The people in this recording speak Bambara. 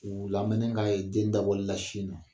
U lamɛni ka ye den dabɔlila sin na.